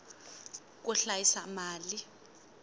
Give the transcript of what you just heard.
ku hlayisa mali